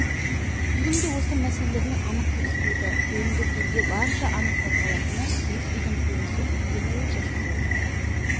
кинофильмде осы мәселелер анық көрсетіледі фильмде көзге барынша анық байқалатыны киіз үйдің көрінісі өйткені ол жасалу